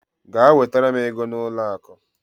Gaa wetara m ego n'ụlọ akụ!